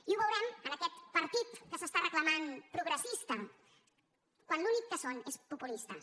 i ho veurem amb aquest partit que es reclama progressista quan l’únic que són és populistes